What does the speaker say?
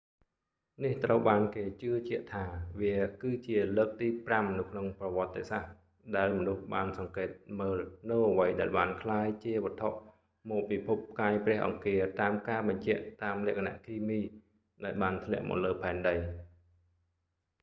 នេះត្រូវបានគេជឿជាក់ថា វា គឺជាលើកទីប្រាំនៅក្នុងប្រវត្ដិសាស្ដ្រ ដែលមនុស្សបានសង្កេតមើលនូវអ្វីដែលបានក្លាយជាវត្ថុមកពីភពផ្កាយព្រះអង្គារតាមការបញ្ជាក់តាមលក្ខណៈគីមី ដែលបានធ្លាក់មកលើផែនដី